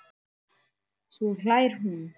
Svo hlær hún.